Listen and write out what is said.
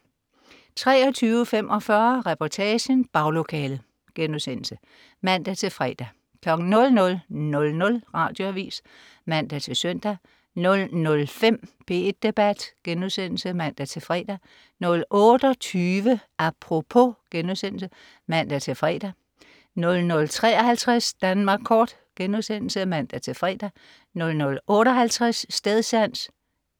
23.45 Reportagen. Baglokalet* (man-fre) 00.00 Radioavis (man-søn) 00.05 P1 Debat* (man-fre) 00.28 Apropos* (man-fre) 00.53 Danmark kort* (man-fre) 00.58 Stedsans*